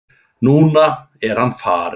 Núna er hann farinn.